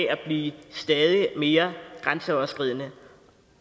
at blive stadig mere grænseoverskridende